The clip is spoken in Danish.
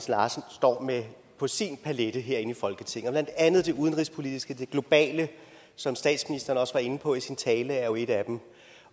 larsen står med på sin palet herinde i folketinget og blandt andet det udenrigspolitiske det globale som statsministeren også var inde på i sin tale er jo et af dem